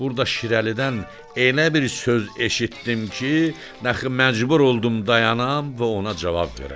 Burda Şirəlidən elə bir söz eşitdim ki, axı məcbur oldum dayanam və ona cavab verəm.